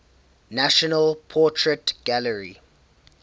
national portrait gallery